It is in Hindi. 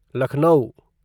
लखनऊ